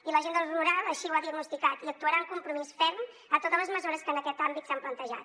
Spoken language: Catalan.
i l’agenda rural així ho ha diagnosticat i actuarà amb compromís ferm en totes les mesures que en aquest àmbit s’han plantejat